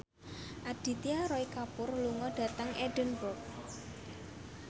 Aditya Roy Kapoor lunga dhateng Edinburgh